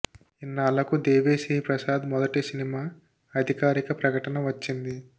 ఇన్నాళ్లకు దేవి శ్రీ ప్రసాద్ మొదటి సినిమా అధికారిక ప్రకటన వచ్చింది